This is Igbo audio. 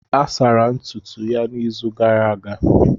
A sara ntutu ya n'izu gara aga.